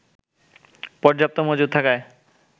পর্যাপ্ত মজুদ থাকায়